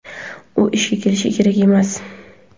u ishga kelishi kerak emas.